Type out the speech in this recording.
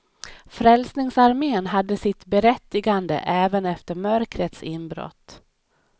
Frälsningsarmén hade sitt berättigande även efter mörkrets inbrott.